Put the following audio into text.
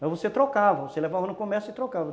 Mas você trocava, você levava no comércio e trocava.